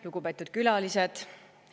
Lugupeetud külalised!